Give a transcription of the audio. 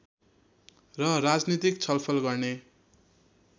र राजनीतिक छलफल गर्ने